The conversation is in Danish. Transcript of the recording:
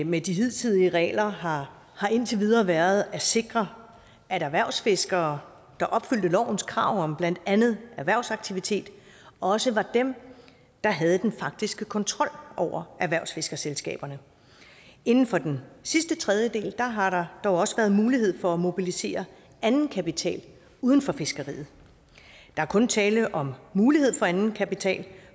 med de hidtidige regler har har indtil videre været at sikre at erhvervsfiskere der opfyldte lovens krav om blandt andet erhvervsaktivitet også var dem der havde den faktiske kontrol over erhvervsfiskerselskaberne inden for den sidste tredjedel har der dog også været mulighed for at mobilisere anden kapital uden for fiskeriet der er kun tale om mulighed for anden kapital